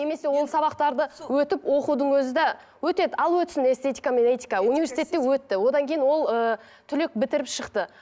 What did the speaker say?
немесе ол сабақтарды өтіп оқудың өзі де өтеді ал өтсін эстетика мен этика университетте өтті одан кейін ол ыыы түлек бітіріп шықты